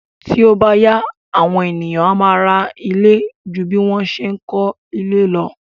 Tí ó bá yá, àwọn ènìyàn a máa ra ilé ju bí wọ́n ṣe ń kó ilé lo.